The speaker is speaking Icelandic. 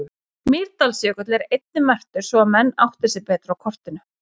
Mýrdalsjökull er einnig merktur svo að menn átti sig betur á kortinu.